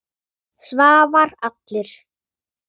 Svavar allur.